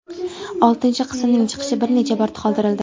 Oltinchi qismning chiqishi bir necha bor qoldirildi.